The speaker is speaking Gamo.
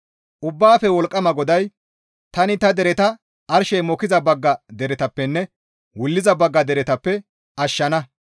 Ubbaafe Wolqqama GODAY, «Tani ta dereta arshey mokkiza bagga deretappenne wulliza bagga deretappe ashshana.